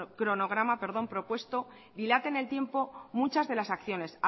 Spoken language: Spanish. cronograma propuesto dilata en el tiempo muchas de las acciones